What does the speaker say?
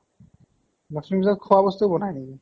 লক্ষ্মী পুজাত খোৱা বস্তু বনাই নেকি?